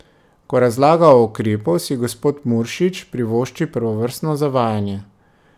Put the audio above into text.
Ko razlaga o ukrepu, si gospod Muršič privošči prvovrstno zavajanje.